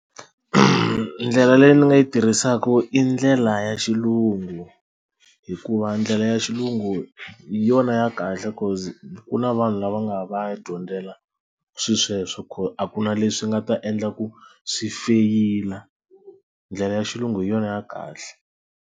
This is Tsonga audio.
Ndlela leyi ni nga yi tirhisaka i ndlela ya xilungu hikuva ndlela ya xilungu yona ya kahle cause ku na vanhu lava nga va ya dyondzela swilo sweswo a ku na leswi nga ta endla ku swi feyila ndlela ya xilungu hi yona ya kahle.